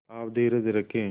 आप धीरज रखें